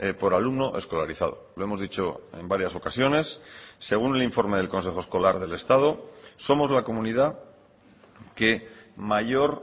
por alumno escolarizado lo hemos dicho en varias ocasiones según el informe del consejo escolar del estado somos la comunidad que mayor